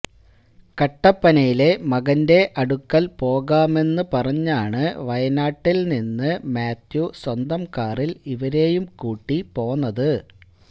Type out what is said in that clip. കട്ടപ്പനയിലെ മകന്റെ അടുക്കല് പോകാമെന്ന് പറഞ്ഞാണ് വയനാട്ടില് നിന്ന് മാത്യു സ്വന്തം കാറില് ഇവരെയും കൂട്ടി പോന്നത്